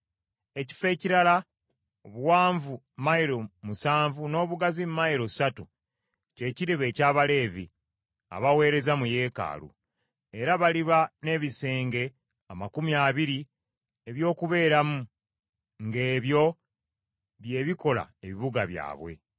Ekifo ekirala obuwanvu mayilo musanvu n’obugazi mayilo ssatu kye kiriba eky’Abaleevi, abaweereza mu yeekaalu, era baliba n’ebisenge amakumi abiri eby’okubeeramu ng’ebyo bye bikola ebibuga byabwe.’